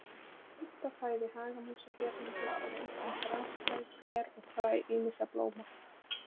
Helsta fæða hagamúsa hérlendis eru einkum grasfræ, ber og fræ ýmissa blóma.